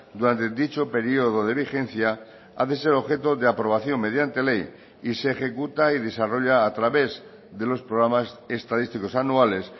durante dicho periodo de vigencia ha de ser objeto de aprobación mediante ley y se ejecuta y desarrolla a través de los programas estadísticos anuales